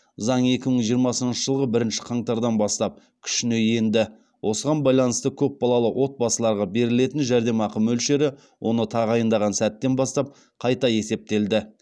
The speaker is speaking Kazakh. заң екі мың жиырмасыншы жылғы бірінші қаңтардан бастап күшіне енді осыған байланысты көпбалалы отбасыларға берілетін жәрдемақы мөлшері оны тағайындаған сәттен бастап қайта есептелді